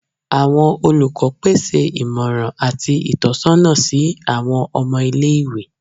Awọn olukọ pese imọran ati itọsọna si awọn ọmọ ile-iwe